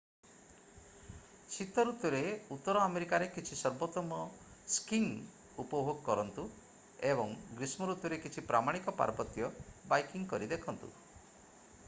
ଶୀତ ଋତୁରେ ଉତ୍ତର ଆମେରିକାରେ କିଛି ସର୍ବୋତ୍ତମ ସ୍କିଂ ଉପଭୋଗ କରନ୍ତୁ ଏବଂ ଗ୍ରୀଷ୍ମ ଋତୁରେ କିଛି ପ୍ରାମାଣିକ ପାର୍ବତ୍ୟ ବାଇକିଂ କରି ଦେଖନ୍ତୁ